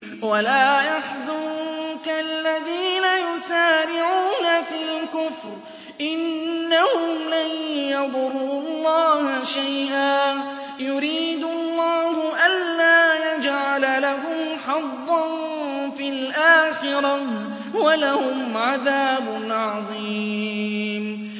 وَلَا يَحْزُنكَ الَّذِينَ يُسَارِعُونَ فِي الْكُفْرِ ۚ إِنَّهُمْ لَن يَضُرُّوا اللَّهَ شَيْئًا ۗ يُرِيدُ اللَّهُ أَلَّا يَجْعَلَ لَهُمْ حَظًّا فِي الْآخِرَةِ ۖ وَلَهُمْ عَذَابٌ عَظِيمٌ